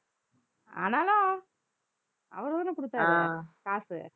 ஆனாலும், அவர்தானே கொடுத்தாரு காசு